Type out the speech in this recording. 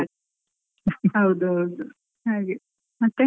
ಹೌದು ಹೌದು, ಹಾಗೆ ಮತ್ತೇ.